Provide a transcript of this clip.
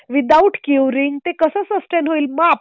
.Without curing ते कसं sustain होईल?